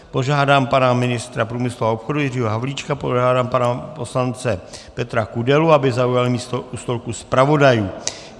Požádám pana ministra průmyslu a obchodu Jiřího Havlíčka, požádám pana poslance Petra Kudelu, aby zaujal místo u stolku zpravodajů.